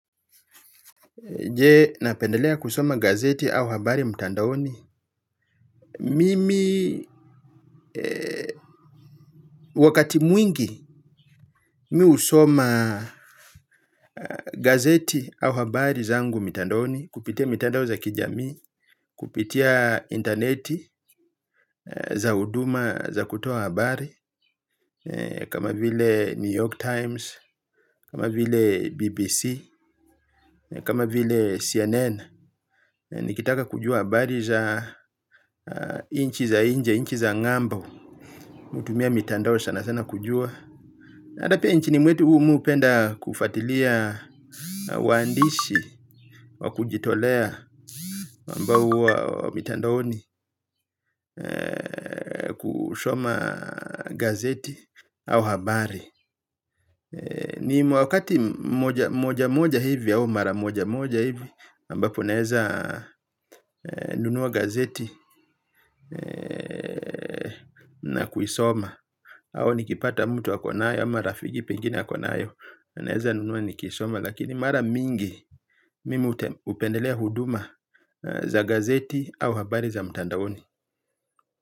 Je napendelea kusoma gazeti au habari mtandaoni. Mimi wakati mwingi mi husoma gazeti au habari zangu mtandaoni. Kupitia mtandao za kijamii, kupitia interneti za huduma za kutoa habari kama vile New York Times, kama vile BBC, kama vile CNN. Nikitaka kujua habari za nchi za nje, nchi za ngambo hutumia mitandao sana sana kujua. Ata pia inchini mwetu umu upenda kufatilia. Waandishi wa kujitolea ambao uwa mitandaoni kushoma gazeti au habari ni wakati moja moja hivi au mara moja moja hivi ambapo naeza nunua gazeti na kuisoma au nikipata mtu akonayo ama rafiki pengine akonayo naeza nunua nikaisoma lakini mara mingi mimi upendelea huduma za gazeti au habari za mtandaoni.